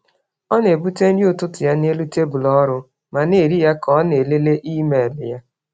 Ọ na-ebute nri ụtụtụ ya n’elu tebụl ọrụ ma na-eri ya ka ọ na-elele email ya.